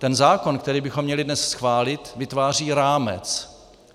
Ten zákon, který bychom měli dnes schválit, vytváří rámec.